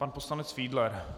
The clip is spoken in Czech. Pan poslanec Fiedler.